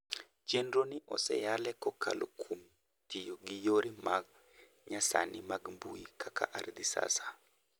Chenro ni osenyalwe kokalo kuom tiyo gi yore ma nyasani mag mbui kaka ArdhiSasa